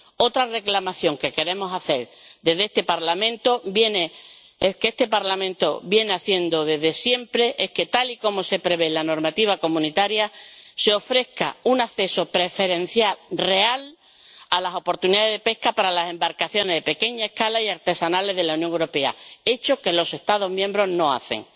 Otra reclamación que queremos hacer desde este Parlamento, y que este Parlamento viene haciendo desde siempre, es que, tal y como se prevé en la normativa comunitaria, se ofrezca un acceso preferencial real a las oportunidades de pesca para las embarcaciones de pequeña escala y artesanales de la Unión Europea, algo que los Estados miembros no hacen.